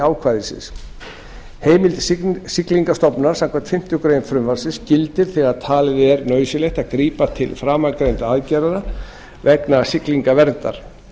ákvæðisins heimild siglingastofnunar samkvæmt fimmtu grein frumvarpsins gildir þegar talið er nauðsynlegt að grípa til framangreindra aðgerða vegna siglingaverndar